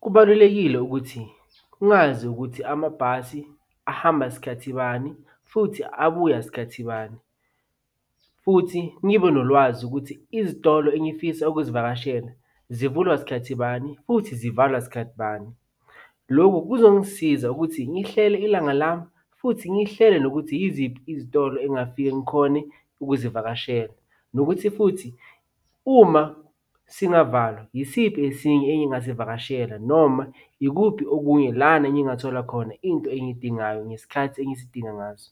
Kubalulekile ukuthi ngazi ukuthi amabhasi ahamba sikhathi bani, futhi abuya sikhathi bani, futhi ngibe nolwazi ukuthi izitolo engifisa ukuzivakashela zivulwa sikhathi bani futhi zivalwa sikhathi bani. Lokhu kuzongisiza ukuthi ngihlele ilanga lami, futhi ngihlele nokuthi yiziphi izitolo engafika ngikhone ukuzivakashela, nokuthi futhi uma singavalwa yisiphi esinye engingasivakashela noma yikuphi okunye lana engingathola khona into engiyidingayo ngesikhathi engiyidinga ngaso.